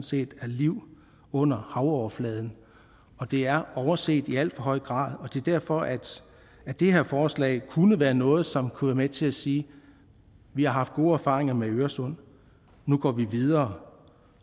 set er liv under havoverfladen det er overset i alt for høj grad og det er derfor at det her forslag kunne være noget som kunne være med til at sige vi har haft gode erfaringer med øresund nu går vi videre